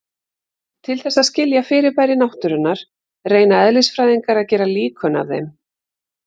Til þess að skilja fyrirbæri náttúrunnar reyna eðlisfræðingar að gera líkön af þeim.